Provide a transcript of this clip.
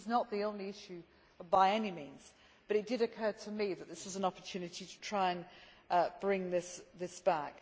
This is not the only issue, by any means, but it did occur to me that this is an opportunity to try and bring this back.